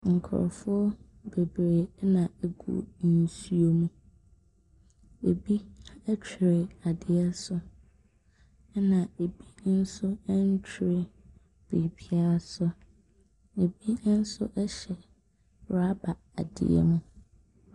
Nkurɔfoɔ bebree na wɔgu nsuo mu. Ɛbi twere ade so ɛna ɛbi nso ntere biribiara so. Ɛbi nso hyɛ rubber adeɛ mu.